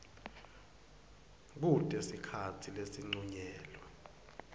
kute sikhatsi lesincunyelwe